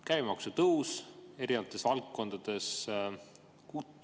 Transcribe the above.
Käibemaksu tõus erinevates valdkondades.